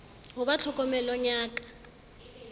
ho ba tlhokomelong ya ka